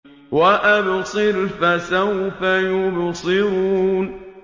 وَأَبْصِرْ فَسَوْفَ يُبْصِرُونَ